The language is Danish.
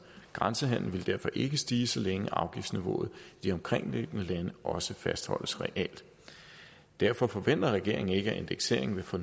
grænsehandelen ville derfor ikke stige så længe afgiftsniveauet i de omkringliggende lande også fastholdes realt derfor forventer regeringen ikke at indekseringen vil få